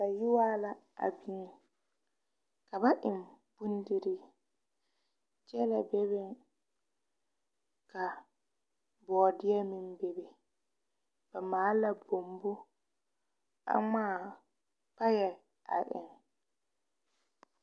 Bayɔɔrɔ la a dieŋ a biŋ ka ba eŋ bondirii gyɛlɛ bebeŋ ka bɔdeɛ meŋ bebe ba maala kpombo a ŋmaa paɛ a eŋ.